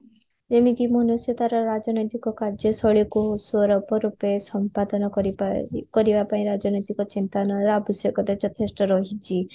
ଯେମିତିତ ମନୁଷ୍ୟ ତାର ରାଜନୈତିକ କାର୍ଯ୍ୟ ଶୈଳୀକୁ ସ୍ବରାପୁ ରୂପେ ସମ୍ପାଦନ କରି ପାରି କରିବା ପାଇଁ ରାଜନୈତିକ ଚିନ୍ତନର ଆବଶ୍ୟକତା ଯଥେଷ୍ଟ ରହିଛି